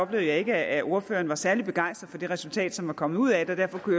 jeg ikke at ordføreren var særlig begejstret for det resultat som var kommet ud af det derfor kunne